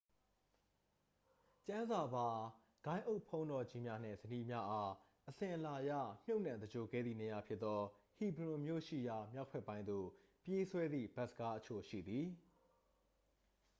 ကျမ်းစာပါ ဂိုဏ်းအုပ်ဘုန်းတော်ကြီးများနှင့် ဇနီးများအား အစဉ်အလာအရ မြုပ်နှံသဂြိုဟ်ခဲ့သည့်နေရာဖြစ်သော ဟီဘရွန်မြို့ရှိရာ မြောက်ဘက်ပိုင်းသို့ ပြေးဆွဲသည့် ဘတ်စ်ကားအချို့ရှိသည်